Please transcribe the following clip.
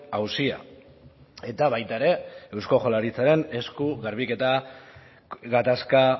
auzia eta baita ere eusko jaurlaritzaren esku garbiketa gatazka